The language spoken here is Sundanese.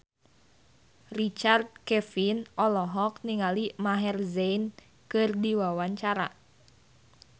Richard Kevin olohok ningali Maher Zein keur diwawancara